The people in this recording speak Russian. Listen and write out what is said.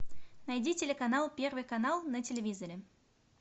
найди телеканал первый канал на телевизоре